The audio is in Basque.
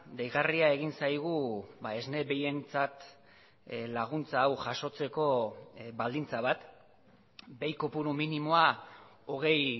deigarria egin zaigu esne behientzat laguntza hau jasotzeko baldintza bat behi kopuru minimoa hogei